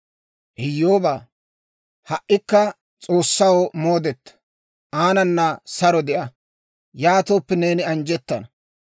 «Iyyoobaa, ha"ikka S'oossaw moodeta; aanana saro de'a. Yaatooppe, neeni anjjettana.